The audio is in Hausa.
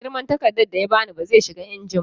Girman takardar da ya ba ni ba zai shiga injin ba